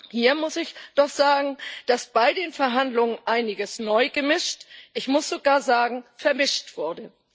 Hier muss ich doch sagen, dass bei den Verhandlungen einiges neu gemischt ich muss sogar sagen vermischt wurde.